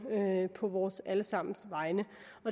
på vores alle sammens vegne